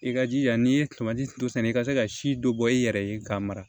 I ka jija n'i ye turu sɛnɛ i ka se ka si dɔ bɔ i yɛrɛ ye k'a mara